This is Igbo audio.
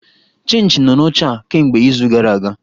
Chinchị nọ n'oche a kemgbe izu gara aga!